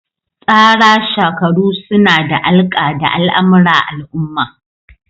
Tsara shakaru suna da alƙa da al'amura al'umma.